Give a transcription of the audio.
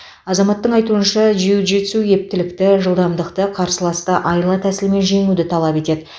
азаматтың айтуынша джиу джитсу ептілікті жылдамдықты қарсыласты айла тәсілмен жеңуді талап етеді